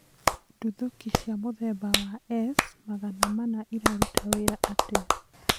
Ndũthũki cia mũthemba wa S-magana mana iraruta wĩra atĩa?